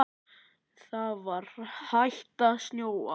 Það var hætt að snjóa.